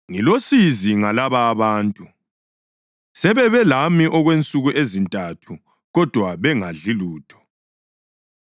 “Ngilosizi ngalaba abantu; sebebe lami okwensuku ezintathu, kodwa bengadli lutho.